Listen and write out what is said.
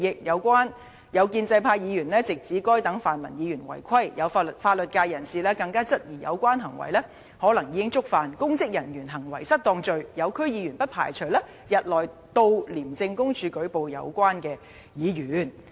有建制派議員直指該等泛民議員違規，有法律界人士更質疑有關行為可能已觸犯'公職人員行為失當'罪，有區議員不排除日內到廉政公署舉報有關議員。